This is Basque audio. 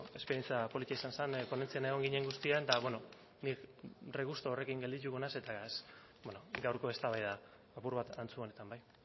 esperientzia polita izan zen ponentzian egon ginen guztientzako eta bueno nik regusto horrekin geldituko naiz eta ez gaurko eztabaida apur bat antzu honetan bai